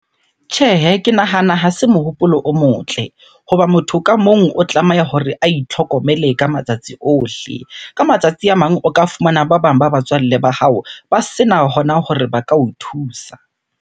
Tjhehe, ke nahana ha se mohopolo o motle. Hoba motho ka mong o tlameha hore a itlhokomele ka matsatsi ohle. Ka matsatsi a mang o ka fumana ba bang ba batswalle ba hao, ba sena hona hore ba ka o thusa.